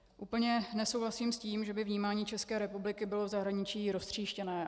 Úplně nesouhlasím s tím, že by vnímání České republiky bylo v zahraničí roztříštěné.